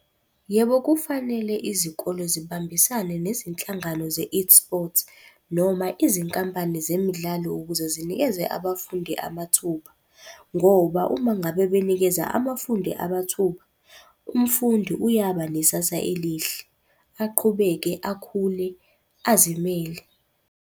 Yebo kufanele izikole zibambisane nezinhlangano ze-eSports noma izinkampani zemidlalo ukuze zinikeze abafundi amathuba. Ngoba uma ngabe benikeza abafundi amathuba, umfundi uyaba nesasa elihle, aqhubeke akhule, azimele.